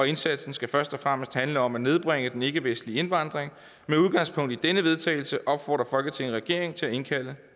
indsatsen skal først og fremmest handle om at nedbringe den ikkevestlige indvandring med udgangspunkt i denne vedtagelse opfordrer folketinget regeringen til at indkalde